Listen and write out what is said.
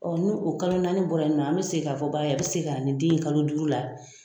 ni o kalo naani bɔra yen nɔn an mi segin k'a fɔ ba ye, a bi segin ka na nin den ye kalo duuru la